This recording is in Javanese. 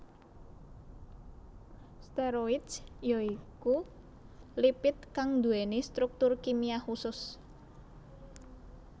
Steroids ya iku lipid kang nduwèni struktur kimia khusus